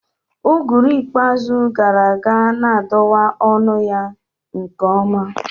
Uguru ikpeazụ gara aga na-adọwa ọnụ ya nke ọma